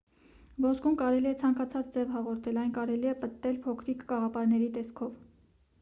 ոսկուն կարելի է ցանկացած ձև հաղորդել այն կարելի է պտտել փոքրիկ կաղապարների տեսքով